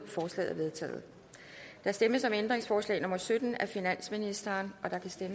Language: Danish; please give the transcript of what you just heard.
forslaget er vedtaget der stemmes om ændringsforslag nummer sytten af finansministeren